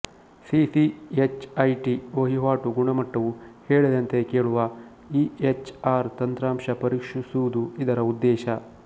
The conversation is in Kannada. ಸಿಸಿಎಚ್ಐಟಿ ವಹಿವಾಟು ಗುಣಮಟ್ಟವು ಹೇಳಿದಂತೆ ಕೇಳುವ ಇಎಚ್ಆರ್ ತಂತ್ರಾಂಶ ಪರೀಕ್ಷಿಸುವುದು ಇದರ ಉದ್ದೇಶ